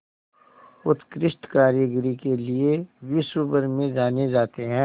उत्कृष्ट कारीगरी के लिये विश्वभर में जाने जाते हैं